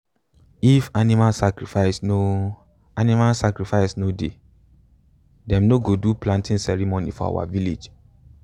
if animal sacrifice no animal sacrifice no dey them no go do planting ceremony for our village.